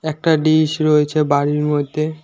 একটা ডিশ রয়েছে বাড়ির মধ্যে।